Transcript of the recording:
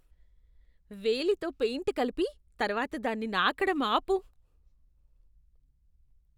వేలితో పెయింట్ కలిపి, తర్వాత దాన్ని నాకడం ఆపు.